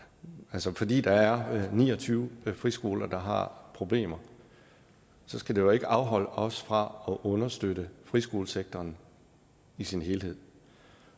altså fordi der er ni og tyve friskoler der har problemer skal det jo ikke afholde os fra at understøtte friskolesektoren i sin helhed